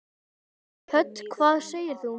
Hödd: Hvað segir þú?